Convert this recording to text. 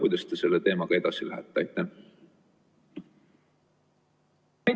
Kuidas te selle teemaga edasi lähete?